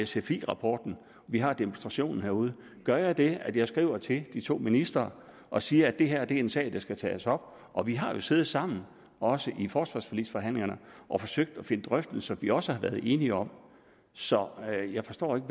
sfi rapporten og vi har demonstrationen herude gør jeg det at jeg skriver til de to ministre og siger at det her er en sag der skal tages op og vi har siddet sammen også i forsvarsforligsforhandlingerne og forsøgt i drøftelser at vi også har været enige om så jeg forstår ikke